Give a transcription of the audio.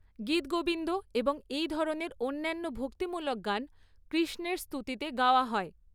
গীতগোবিন্দ এবং এই ধরনের অন্যান্য ভক্তিমূলক গান কৃষ্ণের স্তুতিতে গাওয়া হয়।